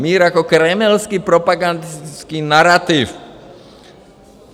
Mír jako kremelský propagandistický narativ.